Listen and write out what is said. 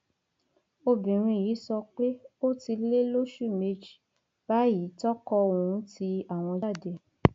obìnrin yìí sọ pé ó ti lé lóṣù méjì báyìí tí ọkọ òun ti àwọn jáde